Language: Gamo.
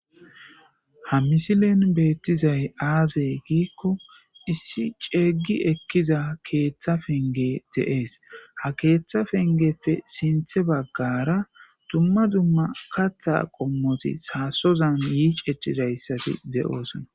ha misilen beettizay aazey giikko issi ceeggi ekkiza keeththa penge de7ees ha keeththa pengeppe sinthe baggara dumma dumma katha qommoti saasozan yiicecidayssati de7oosona